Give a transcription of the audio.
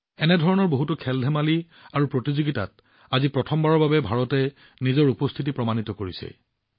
এনেধৰণৰ বহুতো খেলধেমালি প্ৰতিযোগিতাত আজি প্ৰথমবাৰৰ বাবে ভাৰতে নিজৰ উপস্থিতি অনুভৱ কৰাইছে